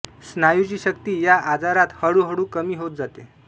स्नायूची शक्ती या आजारात हळू हळू कमी होत जाते